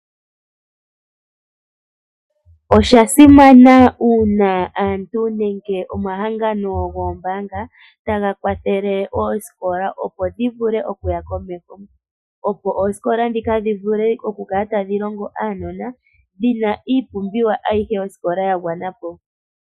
Oshasimana uuna aantu nenge omahangano goombaanga taga kwathele oosikola opo dhivule okuya komeho ,opo oosikola ndhika dhivule okukala tadhi longo uunona dhina iipumbiwa ayihe yosikola ya gwanapo